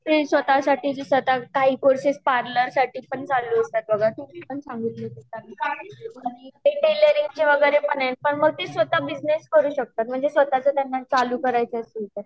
जे स्वतः साठी म्हणजे काही पार्लर साठी चालू असतात आणि ते टेलरिंग चे वगेरे तर तर ते स्वतः बिजनेस करू शकतात स्वतः ची कमाई चालू करायचा असेल तर